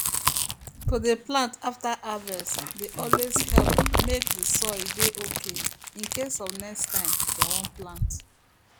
to dey plant after harvest dey always help make the soil dey okay in case of next time dem wan plant